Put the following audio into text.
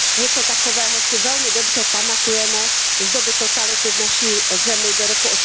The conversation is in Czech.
Něco takového si velmi dobře pamatujeme z doby totality v naší zemi do roku